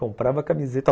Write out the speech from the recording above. Comprava camiseta.